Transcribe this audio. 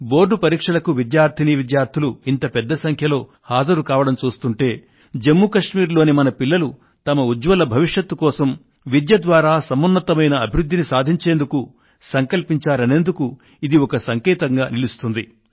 board పరీక్షలకు విద్యార్థినీ విద్యార్థులు ఇంత పెద్ద సంఖ్యలో హాజరు కావడం చూస్తుంటే జమ్ము కశ్మీర్ లోని మన పిల్లలు తమ ఉజ్జ్వల భవిష్యత్ కోసం విద్య ద్వారా సమున్నతమైన అభివృద్ధిని సాధించేందుకు సంకల్పించారనేందుకు ఇది ఒక సంకేతంగా నిలుస్తుంది